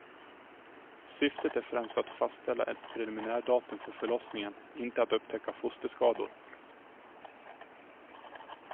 Syftet är främst att fastställa ett preliminärdatum för förlossningen, inte att upptäcka fosterskador.